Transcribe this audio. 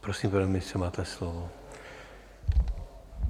Prosím, pane ministře, máte slovo.